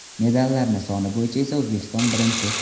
Medallarni soni bo‘yicha esa O‘zbekiston birinchi!